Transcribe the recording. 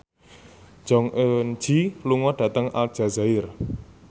Jong Eun Ji lunga dhateng Aljazair